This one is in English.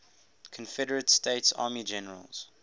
confederate states army generals